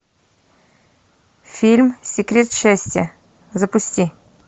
фильм секрет счастья запусти